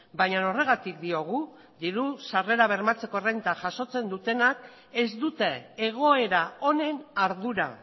baina horregatik diogu diru sarrera bermatzeko errenta jasotzen dutenak ez dute egoera honen ardura